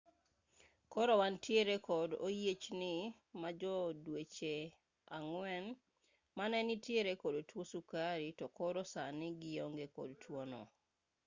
koro wantiere kod oyiechni ma jo dweche ang'wen mane nitiere kod tuo sukari to koro sani gionge kod tuo no